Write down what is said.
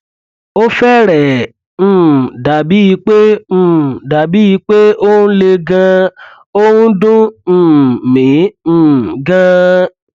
ó fẹrẹẹ um dàbíi pé um dàbíi pé ó ń le ganan ó ǹ dùn um mí um ganan